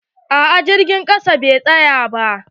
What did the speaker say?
A'a jirgin ƙasa bai tsaya ba.